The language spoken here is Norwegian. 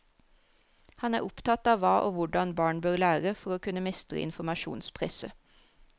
Han er opptatt av hva og hvordan barn bør lære for å kunne mestre informasjonspresset.